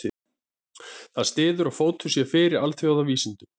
Þetta styður að fótur sé fyrir alþýðuvísindunum.